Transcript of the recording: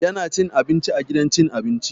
Yana cin abinci a gidan cin abinci.